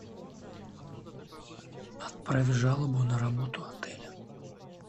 отправь жалобу на работу отеля